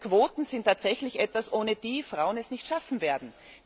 Quoten sind tatsächlich etwas, ohne dass Frauen es nicht schaffen werden.